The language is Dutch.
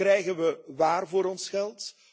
Krijgen we waar voor ons geld?